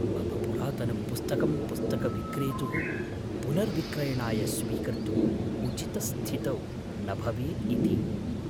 मम पुरातनं पुस्तकं पुस्तकविक्रेतुः पुनर्विक्रयणाय स्वीकर्तुम् उचितस्थितौ न भवेत् इति